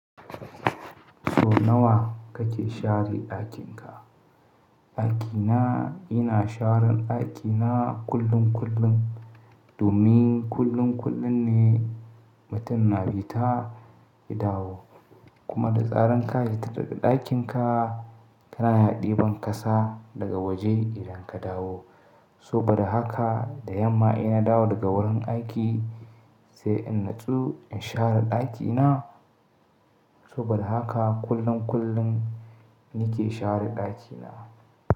So nawa kake share ɗakinka? Ɗakina ina sharan ɗakina kullum kullum domin kullum kullum ne mutane bi ta dawo kuma da tsaran ka yi tara ɗakinka ka na haɗi ban kasa daga waje idan ka dawo. So bada haka da yamma ina dawo daga wurin aiki sai in nutsu in share ɗakina so bada haka kullum kullum ni ke share ɗakina.